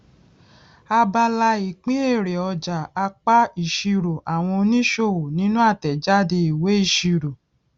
abala ìpín èrè ọjà apá ìṣirò àwọn oníṣòwò nínú àtèjáde ìwé ìṣirò